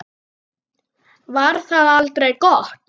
Var það aldrei gott?